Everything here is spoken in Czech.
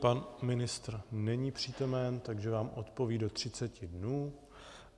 Pan ministr není přítomen, takže vám odpoví do 30 dnů.